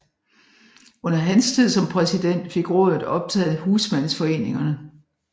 Under hans tid som præsident fik rådet optaget husmandsforeningerne